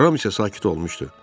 Ram isə sakit olmuşdu.